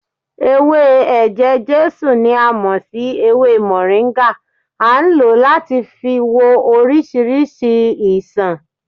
Ewé eje-jesu ni a mò sí ewé moringa, a ń lo láti fi wo orísìírísìí ìṣàn